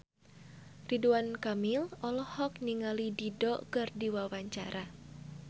Ridwan Kamil olohok ningali Dido keur diwawancara